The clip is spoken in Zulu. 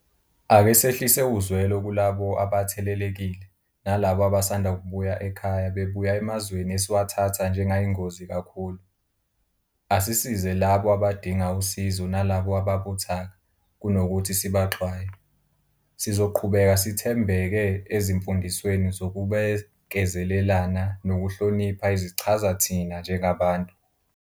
Ake sehlise uzwelo kulabo abathelelekile, nalabo abasanda kubuya ekhaya bebuya emazweni esiwathatha njengayingozi kakhulu. Asisize labo abadinga usizo nalabo ababuthaka, kunokuthi sibaxwaye. Sizoqhubeka sithembeke ezimfundisweni zokubekezelelana nokuhlonipha ezichaza thina njengabantu.